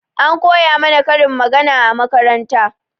An koya mana karin magana a makaranta